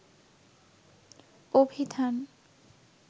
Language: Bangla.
অভিধান